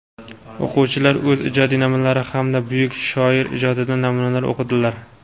O‘quvchilar o‘z ijod namunalari hamda buyuk shoir ijodidan namunalar o‘qidilar.